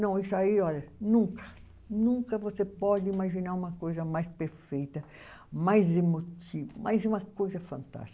Não, isso aí, olha, nunca, nunca você pode imaginar uma coisa mais perfeita, mais emotiva, mais uma coisa fantástica.